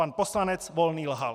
Pan poslanec Volný lhal.